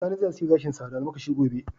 Sani zai aske gashinsa da almakashi gobe.